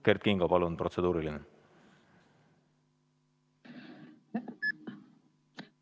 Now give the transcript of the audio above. Kert Kingo, palun, protseduuriline küsimus!